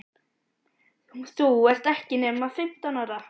Þú ert ekki nema fimmtán ára.